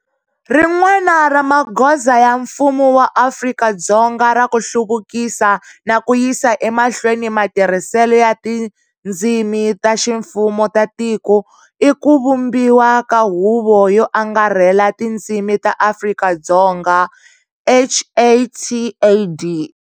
Rin'wana ra magoza ya mfumo wa Afrika-Dzonga ra ku hluvukisa na ku yisa emahlweni matirhiselo ya tindzimi ta ximfumo ta tiko i ku vumbiwa ka Huvo yo Angarhela ya Tindzimi ta Afrika-Dzonga HATAD.